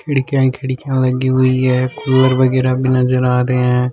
खिड़कियां ही खिड़कियां लगी हुई है कूलर वगैरा भी नजर आ रहे है।